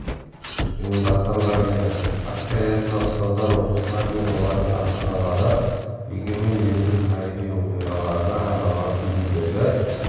ұйыдастырған еді акция аясында ұстаздар оқушылар мен олардың ата-аналары егемен елдің тарихи оқиғаларына арналған фильмдерді